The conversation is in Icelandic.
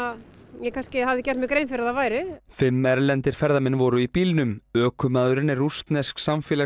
ég kannski hafði gert mér grein fyrir að það væri fimm erlendir ferðamenn voru í bílnum ökumaðurinn er rússnesk